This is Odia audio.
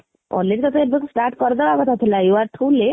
already ତତେ ଏବେଠୁ start କରିଦେବା କଥା ଥିଲା you are too late